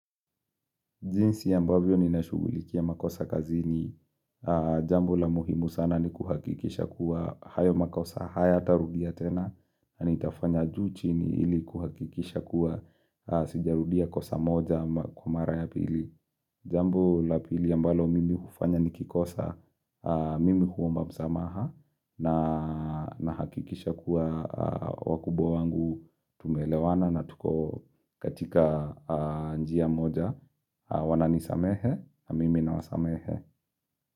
Jinsi ambavyo ninashughulikia makosa kazini, jambo la muhimu sana nikuhakikisha kuwa hayo makosa hayatarudia tena, nanitafanya juu ili kuhakikisha kuwa sijarudia kosa moja kwa mara ya pili. Jambo lapili ambalo mimi hufanya nikikosa, mimi huomba msamaha na nahakikisha kuwa wakubwa wangu tumeleewana na tuko katika njia moja. Wananisamehe, mimi nawasamehe.